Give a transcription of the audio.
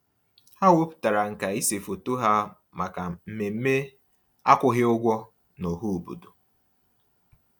Ha wepụtara nkà ịse foto ha maka mmemme akwụghị ụgwọ n'ọhaobodo.